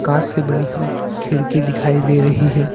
कांच से बनी हुई खिड़की दिखाई दे रही है।